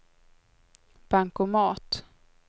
bankomat